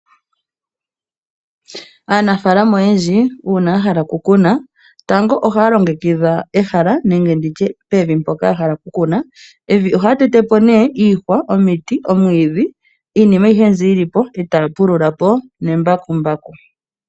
Aanafaalama oyendji uuna ya hala oku kuna, tango ohaya longekidha ehala nenge nditye pevi mpoka ya hala oku kuna, pevi ohaya tete po nee iihwa, omiti, omwiidhi, iinima ayihe mbi yili po, e ta pulula po nembakumbaku.